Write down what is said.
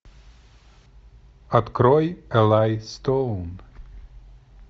открой элай стоун